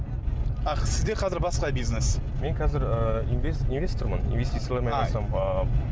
аах сізде қазір басқа бизнес мен қазір ыыы инвестормын инвестициялармен айналысамын ыыы